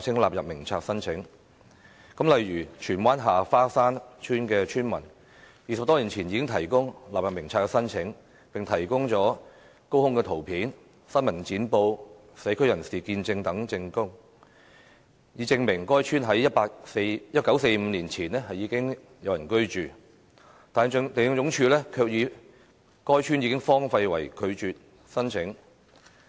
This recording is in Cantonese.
例如，荃灣下花山村村民20多年前已提出納入名冊申請，並提供了高空圖片、新聞剪報、社區人士見證等證據，以證明該村在1945年前已有人居住，但地政總署卻以"該村已荒廢"為由拒絕申請。